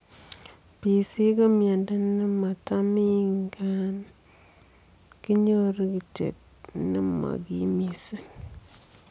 PC ko miondoo nematamii ngaa kinyoruu kityo nemo kiim mising